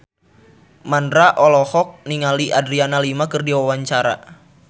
Mandra olohok ningali Adriana Lima keur diwawancara